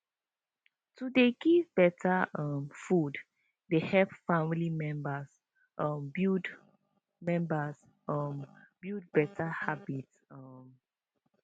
to dey give better um food dey help family members um build members um build better habits um